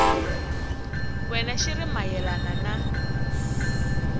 wena xi ri mayelana na